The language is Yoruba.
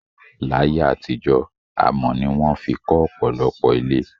Láyé àtijó, amò ni won fi kó òpòlopò ilé